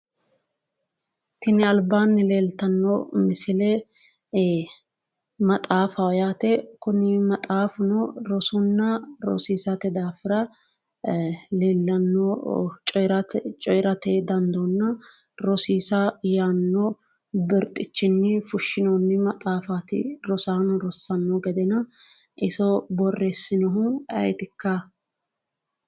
Tinni albaanni leltano misille maxaaffaho yaate kunni maxaafuno rosonna rosiissate daafira leellano coyirate dandoonna rosiissa yaano birxichinni fushinoonni maxaaffa rosaano rossano gedenna iso boreesinohu ayitikka?